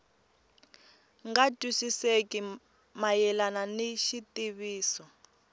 nga twisisekeki mayelana ni xitiviso